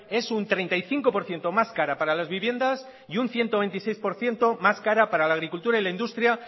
es un treinta y cinco por ciento más cara para las viviendas y un ciento veintiséis por ciento más cara para la agricultura y la industria